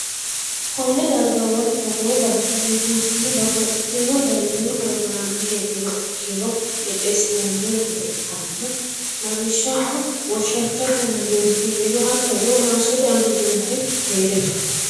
konne darga woy togoo bayicho biifinsannihu babbaxxitino dani pirogiraame heedhuha ikkiro qixxeessinanni're ikkanna, lawishshaho, goshshattote amanyooti hee'riro, hattono maassote amanyooti hee'riro.